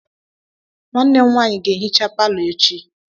Nwanne m nwaanyị ga-ehicha palọ echi.